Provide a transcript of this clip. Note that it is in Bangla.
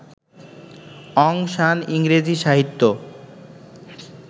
অং সান ইংরেজি সাহিত্য